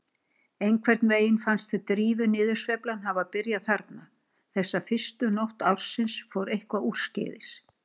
Einhvern veginn fannst Drífu niðursveiflan hafa byrjað þarna, þessa fyrstu nótt ársins fór eitthvað úrskeiðis.